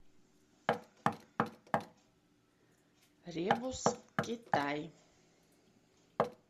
ребус китай